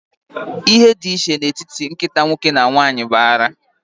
Ihe dị iche n'etiti nkịta nwoke na nwanyị bụ ara.